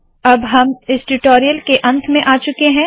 अब हम इस ट्यूटोरियल के अंत में आ चुके है